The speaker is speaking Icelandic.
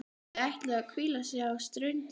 Þau ætluðu að hvíla sig á ströndinni.